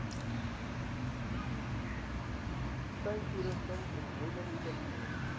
tuintoerusting omheining kunsmis